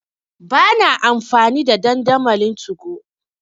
Ba na amfani da dandamalin 2go.